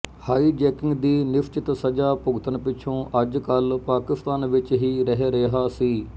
high jacking ਦੀ ਨਿਸਚਿਤ ਸਜ਼ਾ ਭੁਗਤਣ ਪਿਛੋਂ ਅੱਜ ਕੱਲ੍ਹ ਪਾਕਿਸਤਾਨ ਵਿਚ ਹੀ ਰਹਿ ਰਿਹਾ ਸੀ